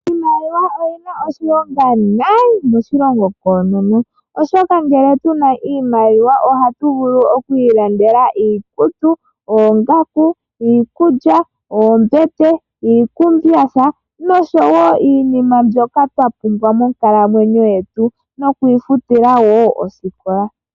Iimaliwa oyi na oshilonga noonkondo moshilongo koonono, oshoka ngele tu na iimaliwa ohatu vulu oku ilandela iikutu, oongaku, iikulya, oombete, iikumbyatha noshowo iinima mbyoka twa pumbwa monkalamwenyo yetu nokuifutila wo oosikola.